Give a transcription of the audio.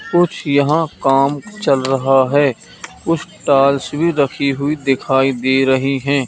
कुछ यहां काम चल रहा है कुछ टाइल्स भी रखी हुई दिखाई दे रही हैं।